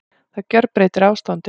Það gjörbreytir ástandinu